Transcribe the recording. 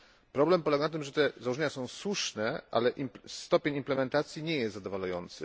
Problem polega na tym, że te założenia są słuszne, ale stopień implementacji nie jest zadowalający.